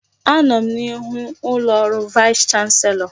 Anọ m n'ihu ụlọ ọrụ vaịs chanselọ.